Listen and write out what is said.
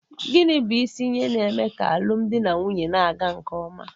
Gịnị bụ isi ihe na-eme ka alụmdi na nwunye na-aga nke ọma?